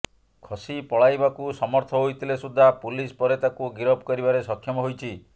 ଖସି ପଳାଇବାକୁ ସମର୍ଥ ହୋଇଥିଲେ ସୁଦ୍ଧା ପୁଲିସ ପରେ ତାକୁ ଗିରଫ କରିବାରେ ସକ୍ଷମ ହୋଇଛି